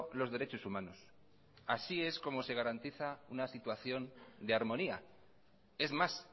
los derechos humanos así es como se garantiza una situación de armonía es más